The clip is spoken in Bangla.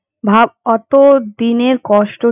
ভাব অতো দিনের কষ্টটা।